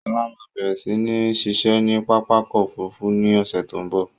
Sọlá máa bẹ̀rẹ̀ si ni ṣiṣẹ́ ni pápákọ̀ Òfurufú ni ọ̀sẹ̀ tó ń bọ̀.